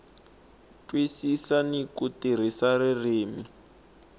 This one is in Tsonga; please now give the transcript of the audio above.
twisisa ni ku tirhisa ririmi